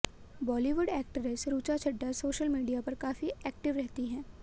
Bollywood actress Richa Chadha social media पर काफी active रहती हैं